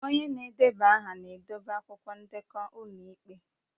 Onye na-edeba aha na-edobe akwụkwọ ndekọ ụlọ ikpe